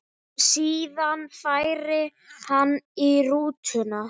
Síðan færi hann í rútuna.